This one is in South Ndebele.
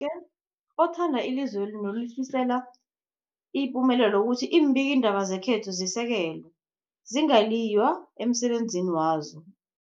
ke othanda ilizweli nolifisela ipumelelo ukuthi iimbikiindaba zekhethu zisekelwe, zingaliywa emsebenzini wazo.